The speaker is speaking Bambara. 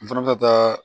N fana bɛ taa